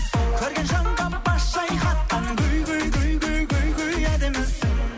көрген жанға бас шайқатқан гүл гүл гүл гүл гүл гүл әдемісің